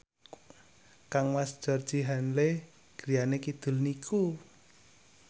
kangmas Georgie Henley griyane kidul niku